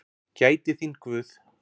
Gæti þín Guð.